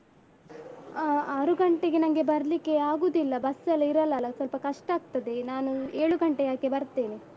ಹ ಆರು ಗಂಟೆಗೆ ನನ್ಗೆ ಬರ್ಲಿಕ್ಕೆ ಆಗುದಿಲ್ಲ ಬಸ್ಸೆಲ್ಲ ಇರಲ್ಲ ಅಲ ಸ್ವಲ್ಪ ಕಷ್ಟ ಆಗ್ತದೆ ನಾನು ಏಳು ಗಂಟೆ ಹಾಗೆ ಬರ್ತೇನೆ.